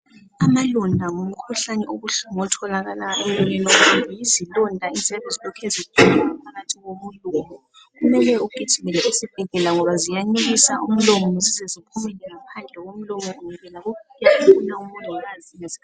amalonda ngumkhuhlane obuhlungu otholakala emlonyeni womuntu yizilonda eziyabe zilokhe zikhula ngaphakathi komlomo kumele ugijimele esibhedlela ngoba ziyanukisa umlomo zizezibhumele ngaphandle komlomo ungekela ukufike omongikaz ngeskhathi